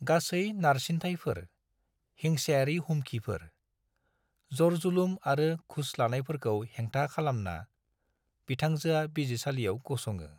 गासै नारसिनथायफोर - हिंसायारि हुमखिफोर, जरजुलुम आरो घुस लानायफोरखौ हेंथा खालामना, बिथांजोआ बिजिरसालियाव गसङो।